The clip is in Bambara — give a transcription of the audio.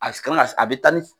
Asi kan si a be taa nisi